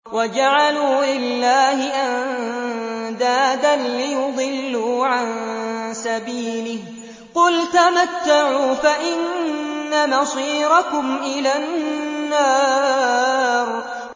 وَجَعَلُوا لِلَّهِ أَندَادًا لِّيُضِلُّوا عَن سَبِيلِهِ ۗ قُلْ تَمَتَّعُوا فَإِنَّ مَصِيرَكُمْ إِلَى النَّارِ